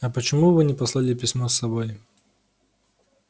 а почему вы не послали письмо с собой